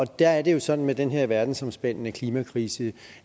der er det jo sådan med den her verdensomspændende klimakrise